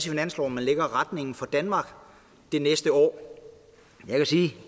i finansloven man lægger retningen for danmark det næste år jeg kan sige